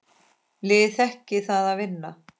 Liðið þekkir það að vinna.